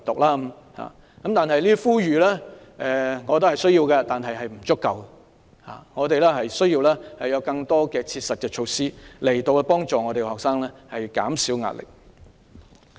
我覺得這些呼籲是需要的，但並不足夠，我們需要有更多實質措施幫助學生減少壓力。